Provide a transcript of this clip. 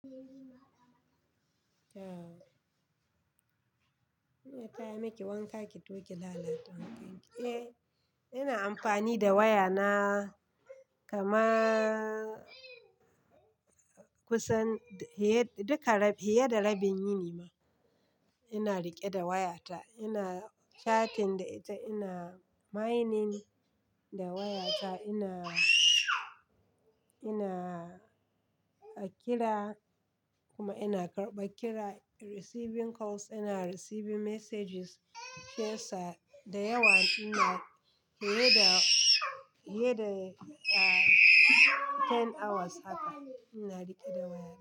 Eh, ta yame ki wanka ki toƙi lalata wankan ki. Eh, ina amfani da waya na kama kusan duka, fiya da rabin yini ma. Ina riƙe da wayata, ina chatting da ita, ina mining da wayata, ina, ina kira kuma ina karɓa kira, receiving calls, ina receiving messages, faca da yawa. Ina iya da, iya da 10 hours haka ina riƙe da waya.